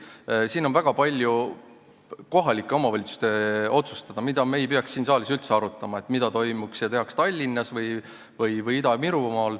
Tõesti, siin on väga palju kohalike omavalitsuste otsustada ja me ei peaks siin saalis üldse arutama, et mis toimub ja mida tehakse Tallinnas või Ida-Virumaal.